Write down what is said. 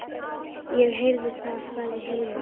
Ég heyri það, sagði Hilmar.